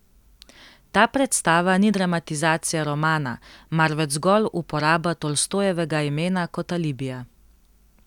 Ta predstava ni dramatizacija romana, marveč zgolj uporaba Tolstojevega imena kot alibija.